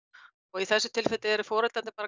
í þessu tilfelli eru foreldrarnir